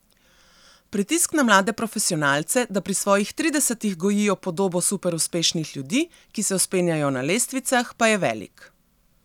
Pritisk na mlade profesionalce, da pri svojih tridesetih gojijo podobo superuspešnih ljudi, ki se vzpenjajo na lestvicah, pa je velik.